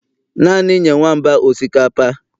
Naanị nye nwamba osikapa